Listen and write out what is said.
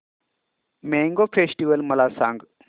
mango festival मला सांग